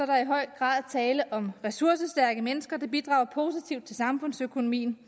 der i høj grad tale om ressourcestærke mennesker der bidrager positivt til samfundsøkonomien